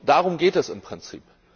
Darum geht es im Prinzip.